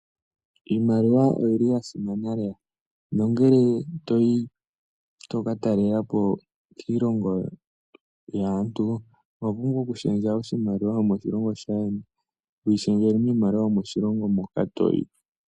Iimaliwa oya simana lela nongele toyi tokatalelapo kiilongo yaantu oho pumbwa okushendja oshimaliwa shomoshilongo shaayeni toyi shendjele mwaambyoka yomoshilongo moka toyi.